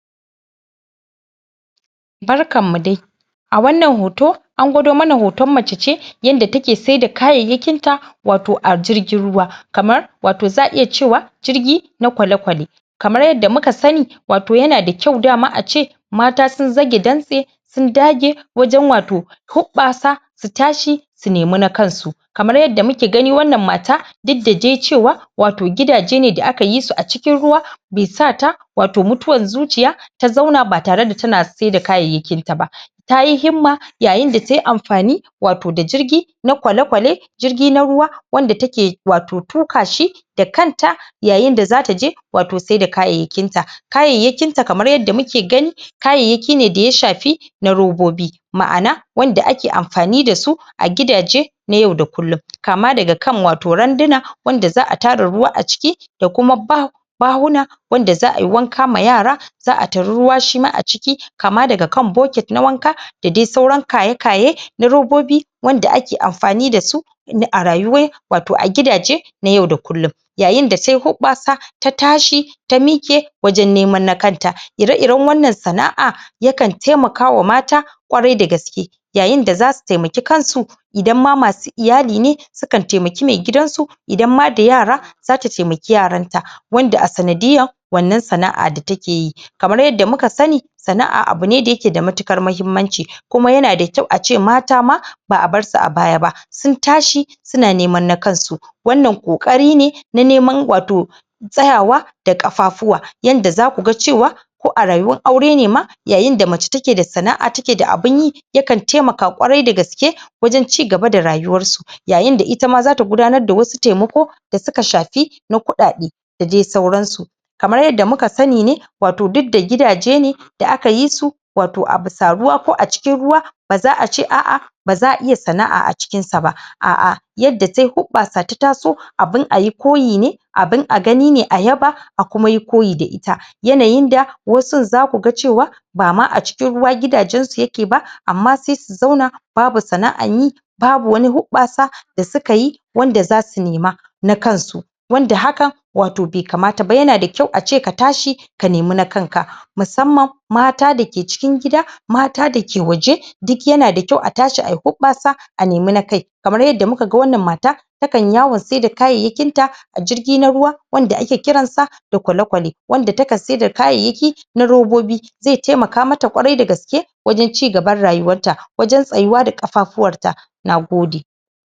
Barkan mu dai! A wannan hoto, an gwado mana hoton mace ce yanda take sai da kayayyakin ta wato a jirgin ruwa, kamar wato za'a iya cewa jirig na kwale-kwale. Kamar yadda muka sani wato ya na da kyau dama ace, mata sun zage dantse sun dage wajen wato huɓɓasa su tashi su nemi na kansu. Kamar yadda muke gani wannan mata duk da dai cewa wato gidaje ne da aka yi su a cikin ruwa be sa ta wato mutuwan zuciya ta zauna ba tare da ta na sai da kayayyakin ta ba. tayi himma yayin da tayi amfani wato da jirgi na kwale-kwale, jirgi na ruwa wanda take wato tuƙa shi da kanta yayin da za ta je wato saida kayayyakin ta. Kayayyakin ta kamar yadda muke gani kayayyaki ne da ya shafi na robobi. Ma'ana wanda ake amfani da su a gidaje na yau da kullum. Kama daga kan wato randuna, wanda za'a tara ruwa a ciki, da kuma ba bahuna wanda za'a yi wanka ma yara za'a tari ruwa shi ma a ciki, kama daga kan bocket na wanka da dai sauran kaye-kaye na robobi wanda ake amfani da su na a rayuwai wato a gidaje na yau da kullum. Yayin da tayi huɓɓasa, ta tashi, ta miƙe wajen neman na kanta. Ire-iren wannan sana'a yakan taimakawa mata ƙwarai da gaske. Yayin da za su taimaki kansu idan ma masu iyali ne sukan taimaki mai gidansu, idan ma da yara, za ta taimaki yaran ta wanda a sanadiyar wannan sana'a da take yi. Kamar yadda muka sani sana'a abu ne da ya ke da matuƙar mahimmanci, kuma ya na da kyau ace mata ma ba'a bar su a baya ba. Sun tashi su na neman na kansu wannan ƙoƙari ne na neman wato tsayawa da ƙafafuwa yanda za ku ga cewa ko a rayuwar aure ne ma, yayin da mace take da sana'a take da abun yi yakan taimaka ƙwarai da gaske wajen cigaba da rayuwar su. Yayin itama za ta gudanar da wasu taimako da suk shafi na kuɗaɗe da dai sauran su. Kamar yadda muka sani ne wato duk da gidaje ne da aka yi su wato a busa ruwa ko a cikin ruwa ba za'a ace a'a ba za'a iya sana'a a cikin sa ba. A'a yadda tayi hoɓɓasa ta taso abun ayi koyi ne abun a gani ne a yaba, ayi koyi da ita. Yanayin da wasun za ku ga cewa bama a cikin ruwa gidajen su ya ke ba, amma sai su zauna babu sana'an yi, babu wani huɓɓasa da suka yi wanda za su nema na kansu, wanda hakan wato bai kamata ba. Ya na da kyau ace ka tashi ka nemi na kanka, musamman mata da ke cikin gida, mata da ke waje duk ya na da kyau a tashi ayi huɓɓasa a nemi na kai, kamar yadda muka ga wannan mata takan yi yawon saida kayayyakin ta a jirgi na ruwa wanda ake kiransa da kwale-kwale, wanda takan saida kayayyaki kamar na robobi zai taimaka ma ta ƙwarai da gaske wajen cigaban rayuwar ta, wajen tsayuwa da ƙafafuwar ta. Nagode!